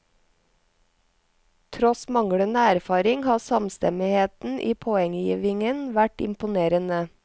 Tross manglende erfaring har samstemmigheten i poenggivingen vært imponerende.